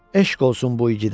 Eşq olsun bu igidə.